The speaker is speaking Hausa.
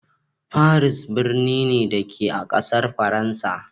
Paris birni ne, da ke a ƙasar Faransa.